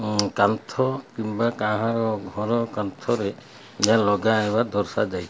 କାନ୍ଥ କିମ୍ବା କାହାର ଘର କାନ୍ଥରେ ଏହା ଲଗା ହେବା ଦର୍ଶା ଯାଇ --